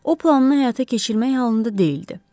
O planını həyata keçirmək halında deyildi.